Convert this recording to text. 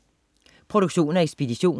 Produktion og ekspedition: